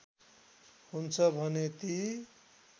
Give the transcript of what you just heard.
हुन्छ भने ती